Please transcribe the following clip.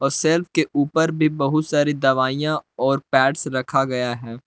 Shelf के ऊपर भी बहुत सारी दवाइयाँ और पैड्स रखा गया है।